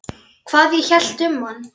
Hvað ég hélt um hann?